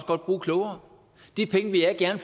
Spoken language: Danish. godt bruge klogere de penge vil jeg gerne